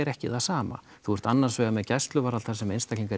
ekki það sama þú ert annar vegar með gæsluvarðhald þar sem menn